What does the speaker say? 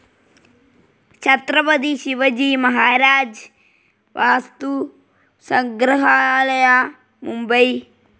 Chhatrapati Shivaji Maharaj Vastu Sangrahalaya, Mumbai